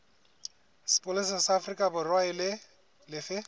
sepolesa sa aforikaborwa e lefe